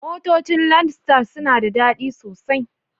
Motocin landstar suna da dadi sosai.